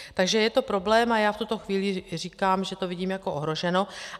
Takže je to problém a já v tuto chvíli říkám, že to vidím jako ohroženo.